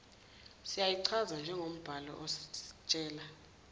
singayichaza njengombhalo ositshela